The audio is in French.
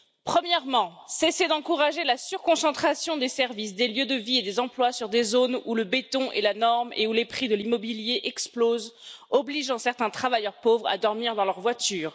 Premièrement, cessez d'encourager la surconcentration des services, des lieux de vie et des emplois sur des zones où le béton est la norme et où les prix de l'immobilier explosent, obligeant certains travailleurs pauvres à dormir dans leur voiture.